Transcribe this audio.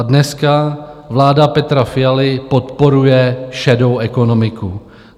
A dneska vláda Petra Fialy podporuje šedou ekonomiku.